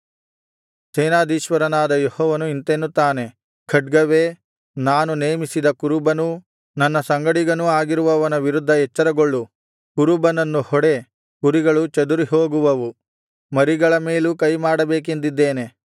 ಸೇನಾಧೀಶ್ವರನಾದ ಯೆಹೋವನು ಇಂತೆನ್ನುತ್ತಾನೆ ಖಡ್ಗವೇ ನಾನು ನೇಮಿಸಿದ ಕುರುಬನೂ ನನ್ನ ಸಂಗಡಿಗನೂ ಆಗಿರುವವನ ವಿರುದ್ಧ ಎಚ್ಚರಗೊಳ್ಳು ಕುರುಬನನ್ನು ಹೊಡೆ ಕುರಿಗಳು ಚದುರಿಹೋಗುವವು ಮರಿಗಳ ಮೇಲೂ ಕೈಮಾಡಬೇಕೆಂದಿದ್ದೇನೆ